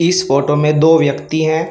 इस फोटो में दो व्यक्ति हैं।